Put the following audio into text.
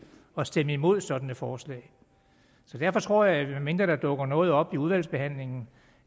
at stemme imod et sådant forslag derfor tror jeg medmindre der dukker noget op under udvalgsbehandlingen